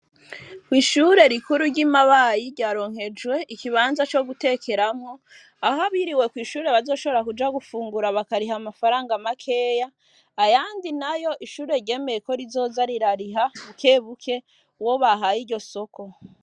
Ishyure rikuru ry,imabayi ryaronkejwe ikibanza co gutekeramwo aho abiriwe kw, ishure bazoshobora kuja gufungura bakariha amafaranga makeya ayandi nayo ishure ryemeye ko rizoza rirariha bukebuke uwo bahaye iryo soko.